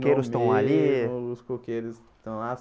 os coqueiros estão lá.